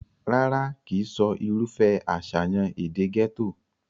rárá, kìí sọ irúfẹ́ àṣàyàn èdè gẹ́tò